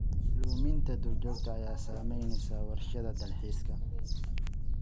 Luminta duurjoogta ayaa saameynaysa warshadaha dalxiiska.